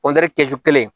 kɛsu kelen